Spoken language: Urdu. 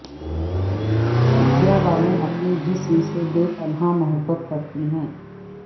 ودیا بالن اپنے جسم سے بے پناہ محبت کرتی ہیں